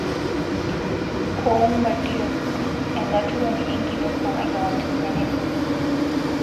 Coumba Diop :enkaturoni enkitok emakewon te Senegal.